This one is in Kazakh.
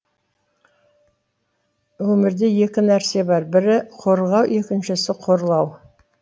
өмірде екі нәрсе бар бірі қорғау екіншісі қорлау